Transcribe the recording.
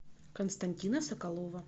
константина соколова